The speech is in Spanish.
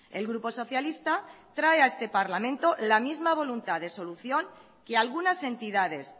el grupo socialista trae a este parlamento la misma voluntad de solución que algunas entidades